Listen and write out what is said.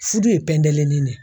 Furu ye pɛndelinin de ye